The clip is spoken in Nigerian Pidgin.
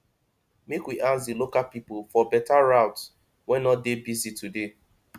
make we ask di local pipo for beta route wey no dey busy today